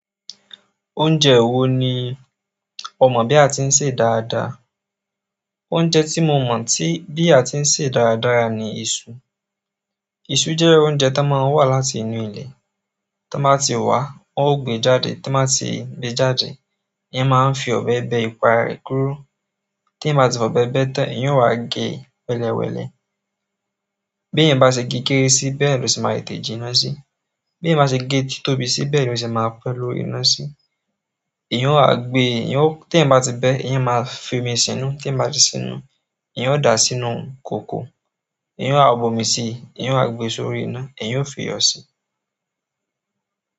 Oúnjẹ wo ni o mọ̀ bí a ti ń sẹ dáadáa? Oúnjẹ tí mo mọ̀ tí, bí a ti ń sè dáradára ni iṣu. Iṣú jẹ́ oúnjẹ tón máa ń wá láti inú ilẹ̀. Tí wọ́n bá ti wá, wọ́n ó gbe jáde, tí wọ́n bá ti gbe jáde, eeyan máa fi ọ̀bẹ bẹ́ ipa rẹ̀ kúrò. Tí eeyan bá ti fi ọ́bẹ bẹ́ tán, eeyan ó wa gẹ́ wẹ́lẹ́wẹ́lẹ́. Bí eeyan bá ṣe gé kéré sí, bẹ́ẹ̀ lo se máa tètè jiná sí. Bí eeyan bá ṣe gẹ́ títóbi sí, bẹ́ẹ̀ lo se maa pe lórí ina sí. Eeyan ó wa gbé, eeyan ó-- tí eeyan bá ti bẹ́, eeyan maa fi omi san nú. Tí eeyan bá ti san nú, eeyan ó dàá sínú kòkò. Eeyan yóò wá bu ọmi sí i, eeyan yóò waá gbe sórí iná, eeyan yoó fi iyọ sí.